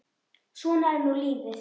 Svona er nú lífið.